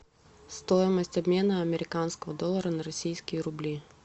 стоимость обмена американского доллара на российские рубли